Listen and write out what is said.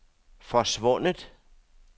forsvundet